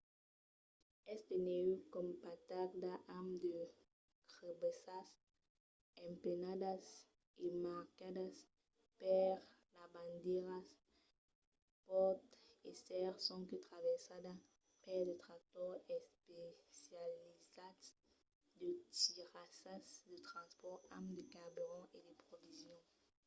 es de nèu compactada amb de crebassas emplenadas e marcadas per de bandièras. pòt èsser sonque traversada per de tractors especializats de tirassas de transpòrt amb de carburant e de provisions